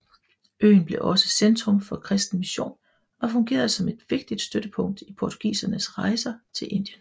Øen blev også centrum for kristen mission og fungerede som et vigtigt støttepunkt i portugisernes rejser til Indien